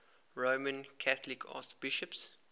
roman catholic archbishops